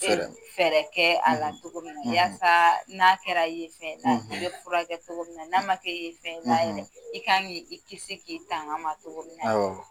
Fɛɛrɛ kɛ a la cogo min na wasa n'a kɛra yen fen y'i la i bi furakɛkɛ cogo na n'a ma kɛ yen fɛn y'i la yɛrɛ, i kan k'i kisi k'i tanga ma cogo min na